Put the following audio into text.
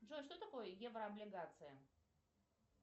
джой что такое еврооблигация